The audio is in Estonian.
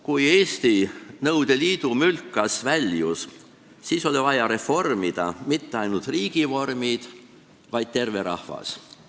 Kui Eesti Nõukogude Liidu mülkast väljus, siis oli vaja reformida mitte ainult riigivorme, vaid tervet rahvast.